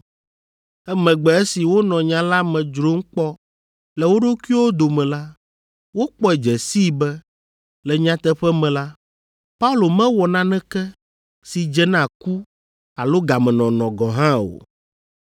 Emegbe esi wonɔ nya la me dzrom kpɔ le wo ɖokuiwo dome la, wokpɔe dze sii be le nyateƒe me la, Paulo mewɔ naneke si dze na ku alo gamenɔnɔ gɔ̃ hã o.